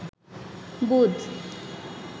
বুধ